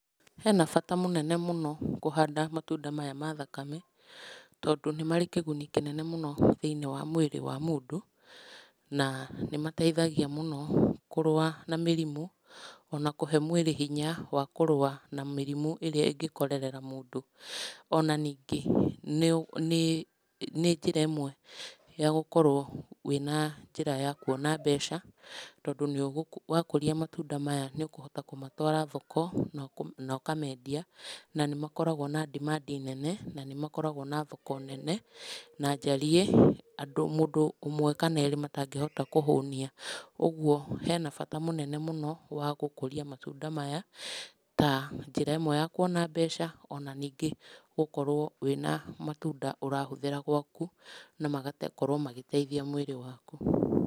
Hena bata mũnene mũno kũhanda matunda maya mathakame tondũ nĩ marĩ kĩguni kĩnene mũno thĩiniĩ wa mwĩrĩ wa mũndũ na nĩmateithagia mũno kũrũa na mĩrimũ ona kũhe mwĩrĩ hinya wa kũrũa na mĩrimũ ĩrĩa ĩngĩkorerera mũndũ, ona ningĩ nĩ njĩra ĩmwe ya gũkorwo wĩna njĩra ya kũona mbeca tondũ wakũria matunda maya nĩ ũkohota kũmatwara thoko nokamendia na nĩ makoragwo na demand nene na nĩ makoragwo mena thoko nene na njariĩ mũndũ ũwe kana erĩ matangĩhota kũhũnia kwoguo hena bata mũnene mũno wa gũkũria matunda maya ta njĩra ĩmwe ya kũona mbeca ona ningĩ gũkorwo wĩna matunda urahũthĩra gwaku na magagĩkorwo magĩteithia mwĩrĩ waku.